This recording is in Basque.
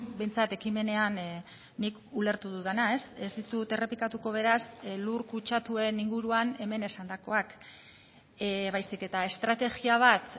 behintzat ekimenean nik ulertu dudana ez ditut errepikatuko beraz lur kutsatuen inguruan hemen esandakoak baizik eta estrategia bat